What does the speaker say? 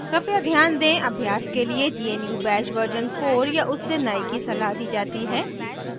कृपया ध्यान दें अभ्यास के लिए gnu bash version 4 या उससे नए की सलाह दी जाती है